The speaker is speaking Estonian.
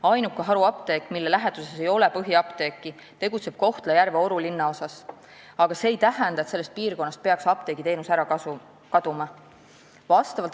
Ainuke haruapteek, mille läheduses ei ole põhiapteeki, tegutseb Kohtla-Järve Oru linnaosas, aga see ei tähenda, et sellest piirkonnast peaks apteegiteenus ära kaduma.